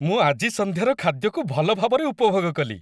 ମୁଁ ଆଜି ସନ୍ଧ୍ୟାର ଖାଦ୍ୟକୁ ଭଲ ଭାବରେ ଉପଭୋଗ କଲି ।